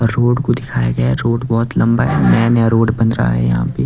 और रोड को दिखाया गया है रोड बहुत लंबा है नया नया रोड बन रहा है यहां पे।